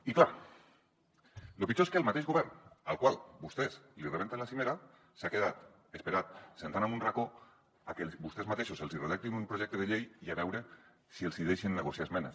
i clar lo pitjor és que el mateix govern al qual vostès li rebenten la cimera s’ha quedat esperant assegut en un racó a que vostès mateixos els hi redactin un projecte de llei i a veure si els hi deixen negociar esmenes